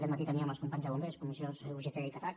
aquest matí teníem els companys de bombers comissions ugt i catac